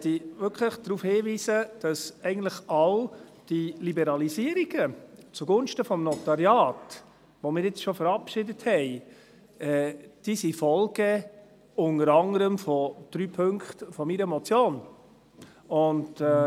Ich möchte wirklich darauf hinweisen, dass eigentlich all diese Liberalisierungen zugunsten des Notariats, die wir jetzt schon verabschiedet haben, unter anderen die Folge von drei Punkten meiner Motion sind.